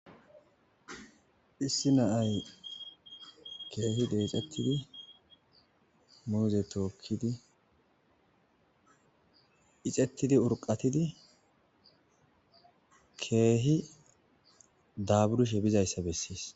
Issi na7ay keehi deexettidi muuze tookki ixettidi urqattidi keehi daaburishe dizayssa bessees.